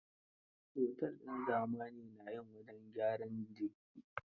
Otel din zamani na yin wajen gyaran jiki.